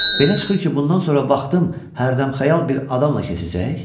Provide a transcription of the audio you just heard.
Belə çıxır ki, bundan sonra vaxtın hərdəmxəyal bir adamla keçəcək?